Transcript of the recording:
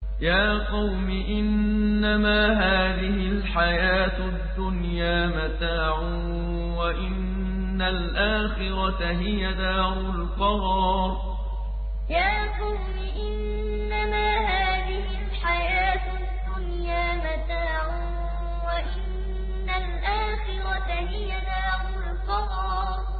يَا قَوْمِ إِنَّمَا هَٰذِهِ الْحَيَاةُ الدُّنْيَا مَتَاعٌ وَإِنَّ الْآخِرَةَ هِيَ دَارُ الْقَرَارِ يَا قَوْمِ إِنَّمَا هَٰذِهِ الْحَيَاةُ الدُّنْيَا مَتَاعٌ وَإِنَّ الْآخِرَةَ هِيَ دَارُ الْقَرَارِ